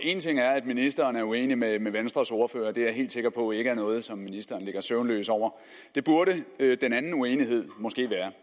en ting er at ministeren er uenig med venstres ordfører det er jeg helt sikker på ikke er noget som ministeren ligger søvnløs over det burde den anden uenighed måske være